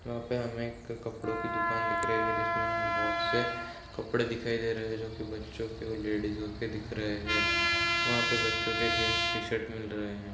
यहाँ पे हमे एक कपड़ो की दुकान दिख रही है जिसमे हमे बहोत से कपड़े दिखाई दे रहे है जो कि बच्चो के और लेडीजो के दिख रहे हैं वहाँ पे बच्चों के जीन्स टीशर्ट मिल रहे हैं।